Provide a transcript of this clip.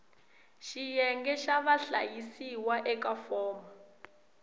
xiyenge xa vahlayisiwa eka fomo